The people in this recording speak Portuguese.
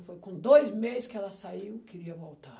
Foi com dois meses que ela saiu, queria voltar.